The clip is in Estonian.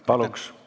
Palun!